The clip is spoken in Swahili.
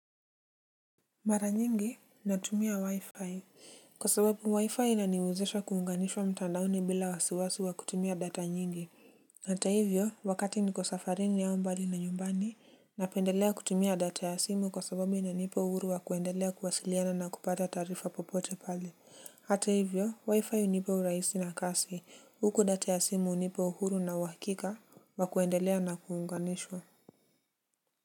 Mara nyingi natumia wi-fi kwa sababu wi-fi naniwezesha kuunganishwa mtandaoni bila wasiwasi wa kutumia data nyingi. Hata hivyo wakati niko safarini au mbali na nyumbani napendelea kutumia data ya simu kwa sababu inanipa uhuru wa kuendelea kuwasiliana na kupata taarifa popote pale. Hata hivyo wi-fi hunipa urahisi na kasi, huku data ya simu unipa uhuru na uhakika wa kuendelea na kuunganishwa.